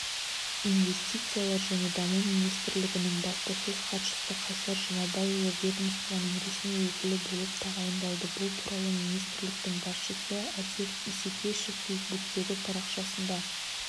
инвестициялар және даму министрлігінің баспасөз хатшысы қайсар жұмабайұлы ведомствоның ресми өкілі болып тағайындалды бұл туралы министрліктің басшысы әсет исекешев фейсбуктегі парақшасында